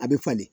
A bɛ falen